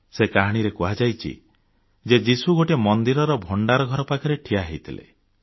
ସେ କାହାଣୀରେ କୁହାଯାଇଛି ଯେ ଯୀଶୁ ଗୋଟିଏ ମନ୍ଦିରର ଭଣ୍ଡାର ଘର ପାଖରେ ଠିଆ ହୋଇଥିଲେ